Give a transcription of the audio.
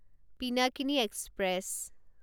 Pinakini express